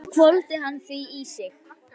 Svo hvolfdi hann því í sig.